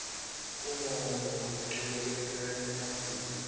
umongo locuketse emaphuzu